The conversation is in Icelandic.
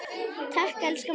Takk, elsku amma.